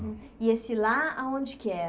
E esse lá, aonde que era?